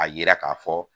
A yira ka fɔ